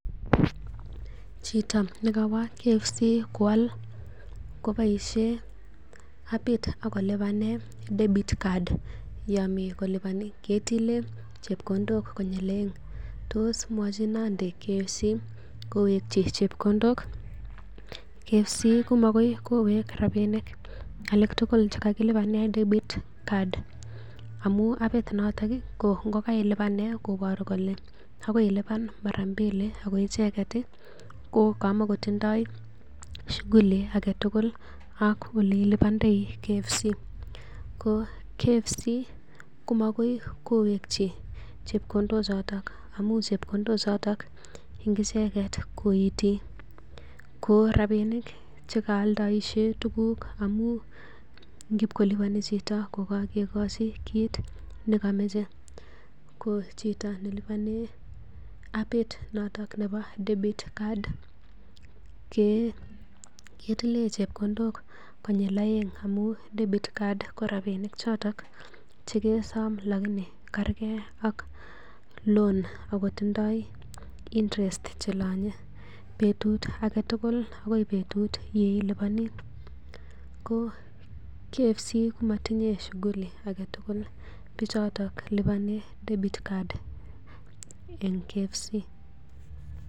chito nekowo KFC kual keboisien hapit akolubanen debit card ako katilen chebkondok konyil aeng tosmwochindo KFC kowek chebkondok. KFC komakoi kowek rabinik tugul chekakilubanen debit card amuun hapit noton ko ngailuban koboru kole kailunan mara mbili ko icheket ih ko kamoko tindoo sukuli ilibandoi KFC. Ko mokoi kowekchi chebkondok choton amuun chebkondok en icheket koiti ko rabinik chekaaldaishe tuguk, amuun ngibkolubani chito kokakekochi kiit nekomache ko chito nelubanen hapit noto nebo credit card ketileen chebkondok konyil aeng ngamun debit card ko kerke ak loan ngamun akotindoi chelanye betut agetugul akoi betut yeilubani ko KFC komotinye shuguli agetugul bichoto che akolubanen debit card en kfc